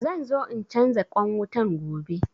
Zanzo in canza ƙwan wutan gobe